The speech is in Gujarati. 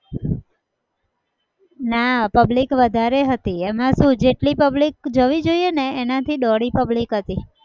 ના public વધારે હતી. એમાં શું જેટલી public જવી જોઈએ એના થી દોઢી public હતી.